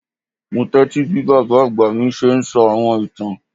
Mo tẹtísí bí bábá àgbà mí ṣe ń sọ àwọn ìtán.